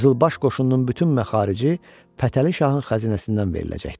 Qızılbaş qoşununun bütün məxarici Fətəli Şahın xəzinəsindən veriləcəkdi.